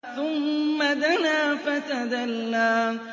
ثُمَّ دَنَا فَتَدَلَّىٰ